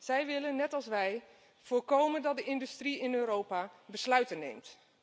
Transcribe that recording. Zij willen net als wij voorkomen dat de industrie in Europa besluiten neemt.